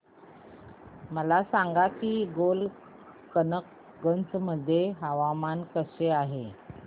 मला सांगा की गोलकगंज मध्ये हवामान कसे आहे